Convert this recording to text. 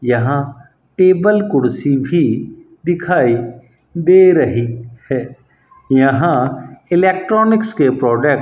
यहां टेबल कुर्सी भी दिखाई दे रही है यहां इलेक्ट्रॉनिक्स के प्रोडक्ट --